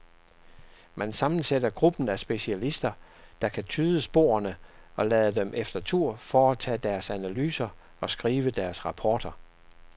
Man sammensætter gruppen af specialister, der kan tyde sporene, og lader dem efter tur foretage deres analyser og skrive deres rapporter.